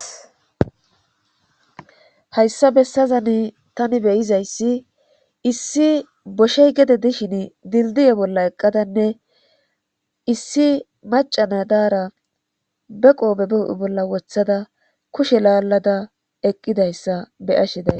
hayssa bessazani tani beyizayssi issi boshey gede dishin dildiye bolla eqqadanne issi macana daara be qobe huphe bolla wothada kushe laallada eqqidayssa be ashi days